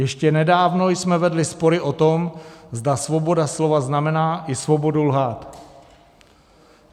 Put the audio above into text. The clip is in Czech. Ještě nedávno jsme vedli spory o tom, zda svoboda slova znamená i svobodu lhát.